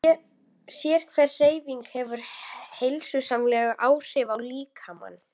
Sérhver hreyfing hefur heilsusamleg áhrif á líkamann.